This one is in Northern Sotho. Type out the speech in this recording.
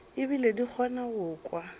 ebile di kgona go kwa